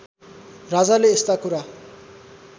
राजाले यस्ता कुरा